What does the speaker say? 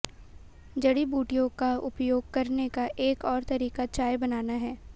जड़ी बूटियों का उपयोग करने का एक और तरीका चाय बनाना है